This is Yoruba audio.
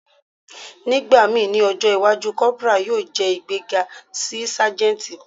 Nigbamii ni ọjọ iwaju, corporal yoo jẹ igbega si sajenti.